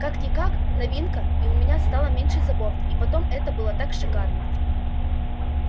как-никак новинка и у меня стало меньше забот и потом это было так шикарно